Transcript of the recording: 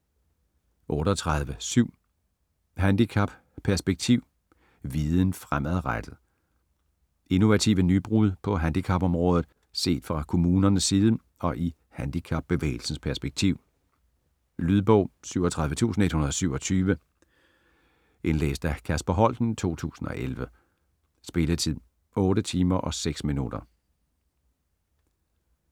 38.7 Handicap - perspektiv: viden fremadrettet Innovative nybrud på handicapområdet set fra kommunerne side og i handicapbevægelsens perspektiv. Lydbog 37127 Indlæst af Kasper Holten, 2011. Spilletid: 8 timer, 6 minutter.